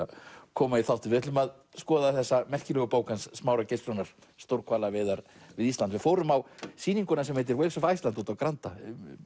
koma í þáttinn við ætlum að skoða þessa merkilegu bók hans Smára Geirssonar stórhvalaveiðar við Ísland við fórum á sýninguna sem heitir Whales of Iceland úti á Granda